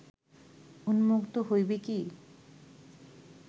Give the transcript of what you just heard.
উন্মুক্ত হইবে কি